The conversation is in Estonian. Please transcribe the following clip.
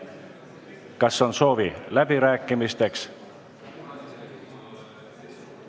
Kas on soovi läbirääkimisteks?